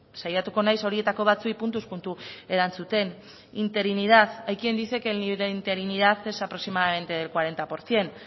saiatuko naiz horietako batzuei puntuz puntu erantzuten interinidad hay quien dice que la interinidad es aproximadamente del cuarenta por ciento